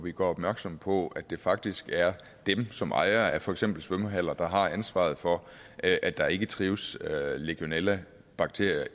vi gør opmærksom på at det faktisk er dem som ejere af for eksempel svømmehaller der har ansvaret for at at der ikke trives legionellabakterier